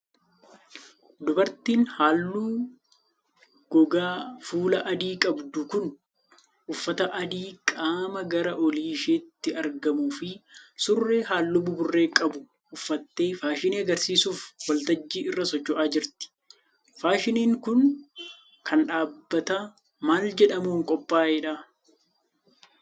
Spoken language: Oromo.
Dubartiin haalluu gogaa fuulaa adii qabdu kun, uffata adii qaama gara olii isheetti argamuu fi surree haalluu buburree qabu uffattee faashinii agarsiisuuf waltajjii irra socho'aa jirti. Faashiniin kun, kan dhaabbata maal jedhamuun qophaa'edha.